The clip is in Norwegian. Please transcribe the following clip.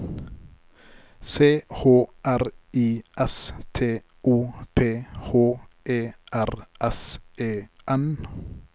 C H R I S T O P H E R S E N